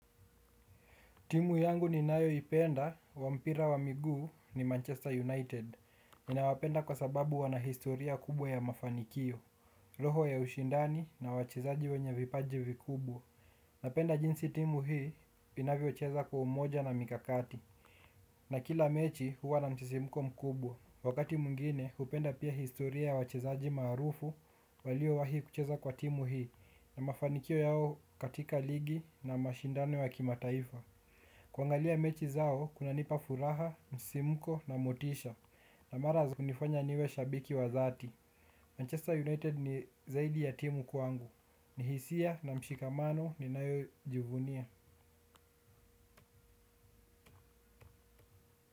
Timu yangu ninayoipenda wa mpira wa miguu ni Manchester United. Ninawapenda kwa sababu wana historia kubwa ya mafanikio. Roho ya ushindani na wachezaji wenye vipaji vikubwa. Napenda jinsi timu hii inavyocheza kwa umoja na mikakati. Na kila mechi huwa na msisimko mkubwa. Wakati mwingine hupenda pia historia ya wachezaji maarufu waliowahi kucheza kwa timu hii. Na mafanikio yao katika ligi na mashindano ya kimataifa. Kuangalia mechi zao, kunanipa furaha, msisimko na motisha na mara hunifanya niwe shabiki wa dhati. Manchester United ni zaidi ya timu kwangu. Ni hisia na mshikamano ninayojivunia.